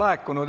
Ei taha.